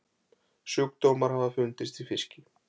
Sjúkdómar hafa fundist í fiski.